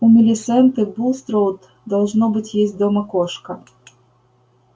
у милисенты булстроуд должно быть есть дома кошка